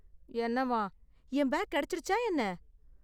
என்னவாம்? என் பேக் கிடைச்சிடுச்சா என்ன ?